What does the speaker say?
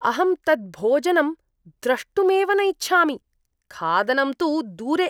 अहं तत् भोजनं द्रष्टुमेव न इच्छामि, खादनं तु दूरे।